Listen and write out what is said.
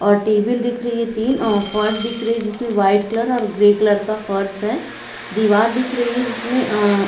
और टेबल दिख रही है तीन और फर्श दिख रही हैं जिसमें व्हाइट कलर और ग्रे कलर का फर्श हैं दीवार दिख रही है जिसमें अ--